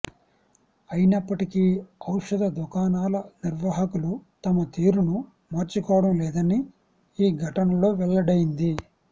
అయినప్పటికీ ఔషధ దుకాణాల నిర్వాహకులు తమ తీరును మార్చుకోవడం లేదని ఈ ఘటనలో వెల్లడైంది